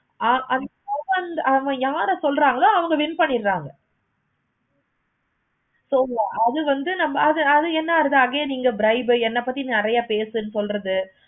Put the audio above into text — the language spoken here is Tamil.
ஆஹ் அவ யாரை சொல்றாங்களோ அவங்க win பண்ணிடுறாங்க. so அது வந்து நம்ம அது என்ன ஆகுறது again இங்க drive உ என்ன பத்தி நெறைய பேசு சொல்றது